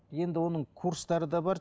енді оның курстары да бар